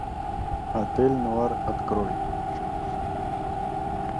отель нуар открой